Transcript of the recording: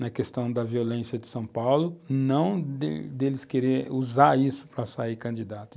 na questão da violência de São Paulo, não deles deles querer usar isso para sair candidato.